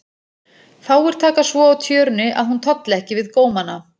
Fáir taka svo á tjörunni að hún tolli ekki við gómana.